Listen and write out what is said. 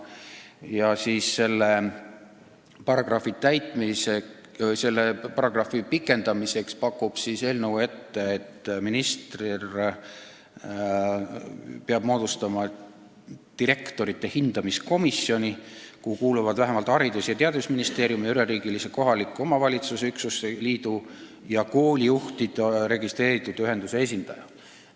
Ja selle paragrahvi pikendamiseks paneb eelnõu ette, et minister peab moodustama direktorite hindamise komisjoni, kuhu kuuluvad vähemalt Haridus- ja Teadusministeeriumi, üleriigilise kohaliku omavalitsuse üksuste liidu ja koolijuhtide registreeritud ühenduse esindaja.